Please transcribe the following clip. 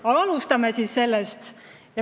Aga alustame siis sellest!